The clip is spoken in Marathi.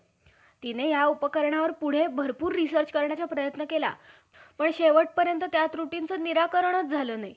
म्हणून त्यांच्या विट~ वीट मानतात. अं तर, यावरून यावरून तूच विचार करून पहा कि ब्राम्हणाचे मुख बाहू,